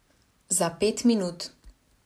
Za pet minut.